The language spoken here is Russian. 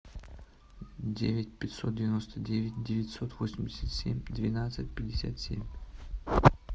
девять пятьсот девяносто девять девятьсот восемьдесят семь двенадцать пятьдесят семь